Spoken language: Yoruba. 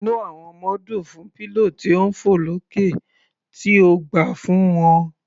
Inú àwọn ọmọ dùn fún pillow tí ń fọ̀ lókè tí o gbà fún wọn.